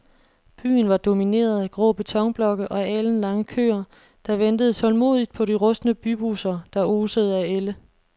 Byen var domineret af grå betonblokke og alenlange køer, der ventede tålmodigt på de rustne bybusser, der osede af ælde.